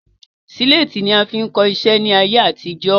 Síléétì ni a fi ń kọ iṣẹ́ ni ayé àtijọ́